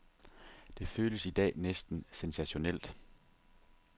Det føles i dag næsten sensationelt.